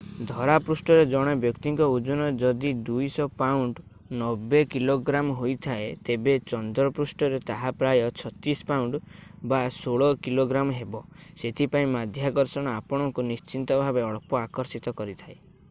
ଧରାପୃଷ୍ଠରେ ଜଣେ ବ୍ୟକ୍ତିଙ୍କ ଓଜନ ଯଦି 200 ପାଉଣ୍ଡ 90 କି.ଗ୍ରା. ହୋଇଥାଏ ତେବେ ଚନ୍ଦ୍ରପୃଷ୍ଠରେ ତାହା ପ୍ରାୟ 36 ପାଉଣ୍ଡ 16 କି.ଗ୍ରା. ହେବ। ସେଥିପାଇଁ ମାଧ୍ୟାକର୍ଷଣ ଆପଣଙ୍କୁ ନିଶ୍ଚିତ ଭାବେ ଅଳ୍ପ ଆକର୍ଷିତ କରିଥାଏ।